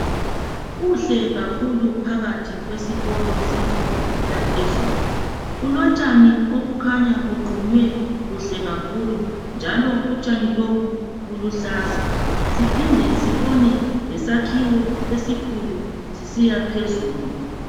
Kuhle kakhulu phakathi kwesikolo semfundo yaphezulu .Kulontshani obukhanya buqunywe kuhle kakhulu njalo unjani lobu buluhlaza, siphinde sibone lesakhiwo esikhulu sisiyaphezulu.